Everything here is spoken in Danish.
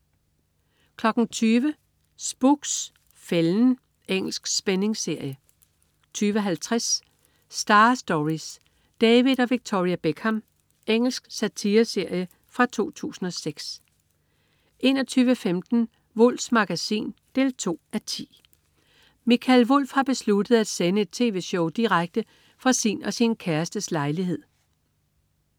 20.00 Spooks: Fælden. Engelsk spændingsserie 20.50 Star Stories: David og Victoria Beckham. Engelsk satireserie fra 2006 21.15 Wulffs Magasin 2:10. Mikael Wulff har besluttet at sende et tv-show direkte fra sin og sin kærestes lejlighed